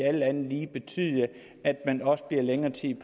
alt andet lige betyde at man også bliver længere tid